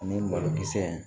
Ani malokisɛ in